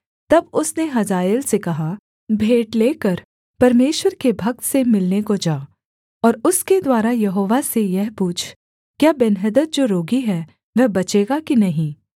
तब उसने हजाएल से कहा भेंट लेकर परमेश्वर के भक्त से मिलने को जा और उसके द्वारा यहोवा से यह पूछ क्या बेन्हदद जो रोगी है वह बचेगा कि नहीं